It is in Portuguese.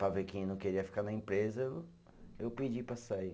Para ver quem não queria ficar na empresa, eu eu pedi para sair.